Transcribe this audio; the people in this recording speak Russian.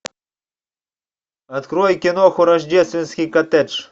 открой киноху рождественский коттедж